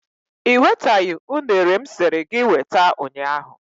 I wetaghị unere m siri gị weta ụnyahụ.